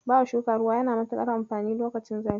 Bawa shuka ruwa yana da matuƙar amfani lokacin zafi.